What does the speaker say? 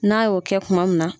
N'a y'o kɛ kuma min na.